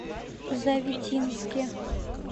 завитинске